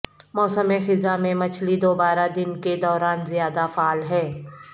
موسم خزاں میں مچھلی دوبارہ دن کے دوران زیادہ فعال ہے